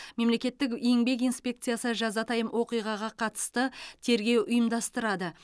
мемлекеттік еңбек инспекциясы жазатайым оқиға қатысты тергеу ұйымдастырады